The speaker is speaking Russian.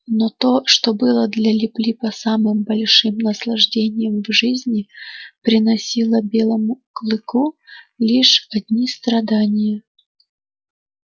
но то что было для лип липа самым большим наслаждением в жизни приносило белому клыку лишь одни страдания